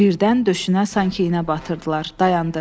Birdən döşünə sanki iynə batırdılar, dayandı.